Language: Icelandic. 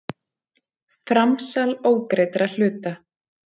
Framsal ógreiddra hluta.